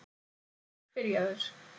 Hann er byrjaður.